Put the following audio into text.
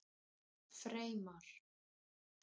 Freymar